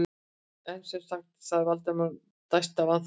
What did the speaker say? En sem sagt- sagði Valdimar og dæsti af vanþóknun.